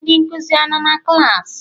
Ndị nkụzi anọ na klaasị?